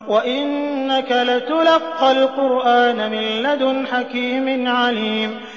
وَإِنَّكَ لَتُلَقَّى الْقُرْآنَ مِن لَّدُنْ حَكِيمٍ عَلِيمٍ